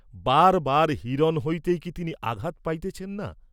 বার বার হিরণ হইতেই কি তিনি আঘাত পাইতেছেন না?